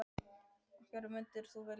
Af hverju myndum við vilja það?